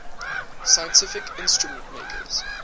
scientific instrument makers